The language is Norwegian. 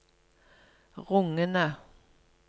rungende